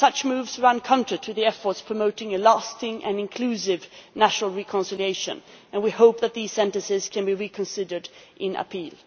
Such moves run counter to the efforts promoting a lasting and inclusive national reconciliation, and we hope that the sentences can be reconsidered in appeal.